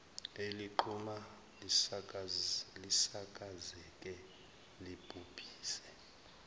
eliqhuma lisakazeke libhubhise